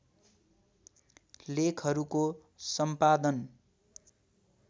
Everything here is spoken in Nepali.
लेखहरूको सम्पादन